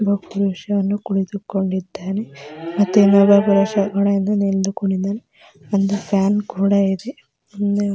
ಮತ್ತೆ ಒಬ್ಬ ಪುರುಷ ಕೂತು ಕೊಂಡಾರೆ ಮತ್ತೆ ಒಂದು ಫ್ಯಾನ್ ಕೂಡ ಇದೆ --